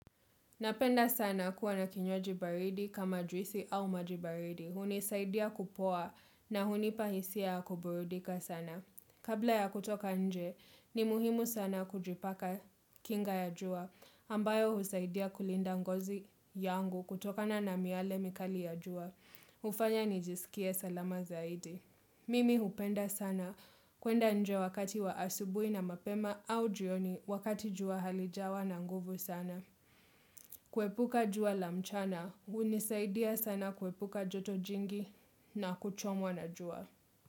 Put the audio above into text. Napenda sana kuwa na kinywaji baridi kama juisi au maji baridi. Hunisaidia kupoa na hunipa hisia ya kuburudika sana. Kabla ya kutoka nje, ni muhimu sana kujipaka kinga ya jua. Ambayo husaidia kulinda ngozi yangu kutokana na miale mikali ya jua. Hufanya nijisikie salama zaidi. Mimi hupenda sana. Kwenda nje wakati wa asubuhi na mapema au jioni wakati jua halijawa na nguvu sana. Kwepuka jua la mchana, hunisaidia sana kwepuka joto jingi na kuchomwa na jua.